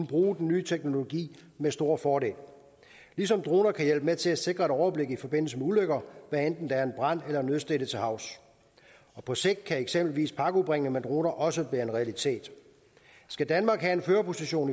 bruge den nye teknologi med stor fordel ligesom droner kan hjælpe med til at sikre et overblik i forbindelse med ulykker hvad enten der er en brand eller nødstedte til havs på sigt kan eksempelvis pakkeudbringning med droner også være en realitet skal danmark have en førerposition